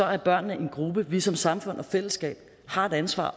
er børnene en gruppe vi som samfund og fællesskab har et ansvar